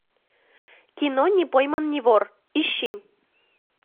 кино не пойман не вор ищи